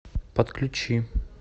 подключи